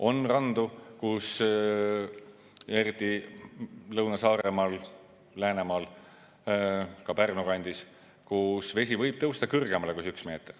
On randu, eriti Lõuna-Saaremaal, Läänemaal, ka Pärnu kandis, kus vesi võib tõusta kõrgemale kui see üks meeter.